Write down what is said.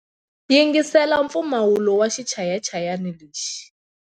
Yingisela mpfumawulo wa xichayachayani lexi.